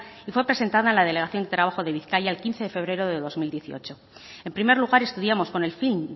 y fue presentada en la delegación de trabajo de bizkaia el quince de febrero de dos mil dieciocho en primer lugar estudiamos con el fin